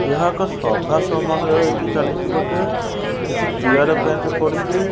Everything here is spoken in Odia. ଏହା ଏକ ସଭା ସମାରୋହରେ ଏଠି ଚାଲିଛି ବୋଧେ କିଛି ଚେୟାର ବେଞ୍ଚ ପଡିଚି।